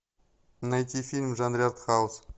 найти фильм в жанре артхаус